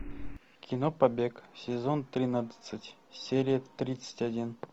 кино побег сезон тринадцать серия тридцать один